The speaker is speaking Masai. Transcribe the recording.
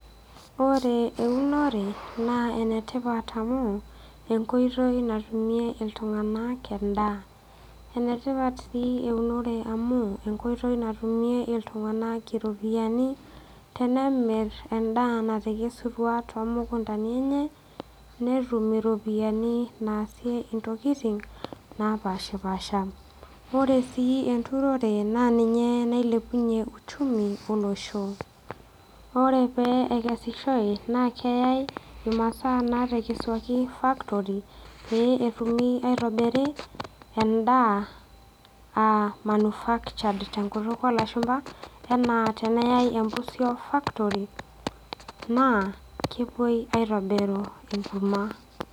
Ore eunore naa enetipat amu enkoitoi natumie iltung'anak endaa enetipat sii eunore amu enkoitoi natumie iltung'anak iropiyiani tenemirr endaa natekesutua tomukuntani enye netum iropiyiani naasie intokiting napashipasha ore sii enturore naa ninye nailepunyie uchumi olosho ore pee ekesishoe naa keyai imasaa natekesuaki factory pee etumi aitobiri endaa uh manufuctured tenkutuk olashumpa tenaa eneyae empusio factory naa kepuoi aitobiru enkurma.